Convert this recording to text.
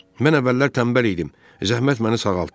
Mən əvvəllər tənbəl idim, zəhmət məni sağaltdı.